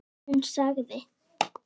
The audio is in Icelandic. Hún sagði